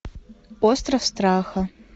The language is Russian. остров страха